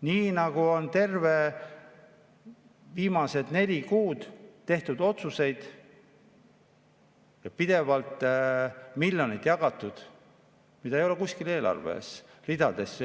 Nii nagu on viimased neli kuud tehtud otsuseid ja pidevalt miljoneid jagatud, mida ei ole kuskil